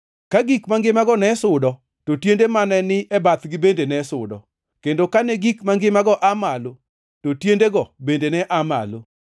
Ka gik mangimago ne sudo, to tiende mane ni bathgi bende ne sudo, kendo kane gik mangimago aa malo, to tiendego bende ne aa malo.